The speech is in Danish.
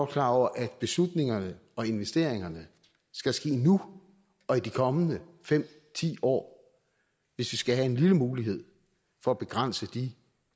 klar over at beslutningerne og investeringerne skal ske nu og i de kommende fem ti år hvis vi skal have en lille mulighed for at begrænse de